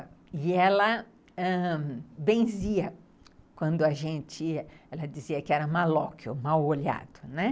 E ela ãh benzia quando a gente... Ela dizia que era malóquio, mau-olhado, né.